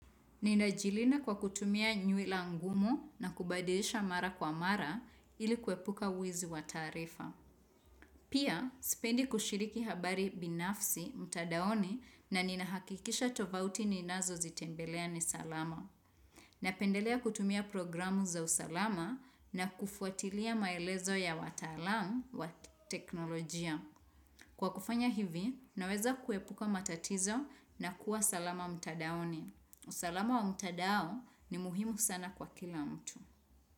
Ninajilinda kwa kutumia nywila ngumu na kubadilisha mara kwa mara ili kuepuka wizi wa taarifa. Pia, sipendi kushiriki habari binafsi, mtandaoni na ninahakikisha tovuti ninazozitembelea ni salama. Napendelea kutumia programu za usalama na kufuatilia maelezo ya wataalamu wa teknolojia. Kwa kufanya hivi, naweza kuepuka matatizo na kuwa salama mtandaoni. Usalamu wa mtandao ni muhimu sana kwa kila mtu.